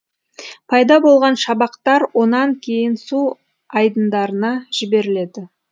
пайда болған шабақтар онан кейін су айдындарына жіберіледі